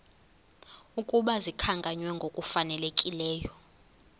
ukuba zikhankanywe ngokufanelekileyo